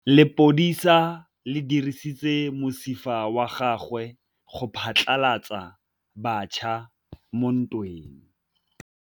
Lepodisa le dirisitse mosifa wa gagwe go phatlalatsa batšha mo ntweng.